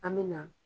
An me na